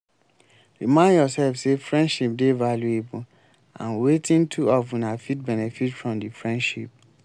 remind yourself sey friendship dey valuable and wetin two of una fit benefit from di friendship